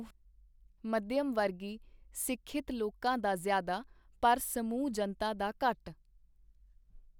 ਮਧਿਅਮ ਵਰਗੀ ਸਿਖਿਅਤ ਲੋਕਾਂ ਦਾ ਜ਼ਿਆਦਾ, ਪਰ ਸਮੂਹ ਜਨਤਾ ਦਾ ਘਟ.